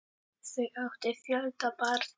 Þau áttu fjölda barna.